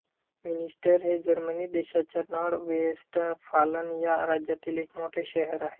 Münster हे Germany देशाच्या Nordrhein Westfalen या राज्यातील एक मोठे शहर आहे